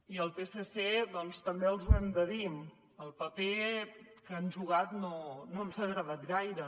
i al psc doncs també els ho hem de dir el paper que han jugat no ens ha agradat gaire